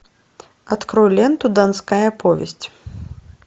открой ленту донская повесть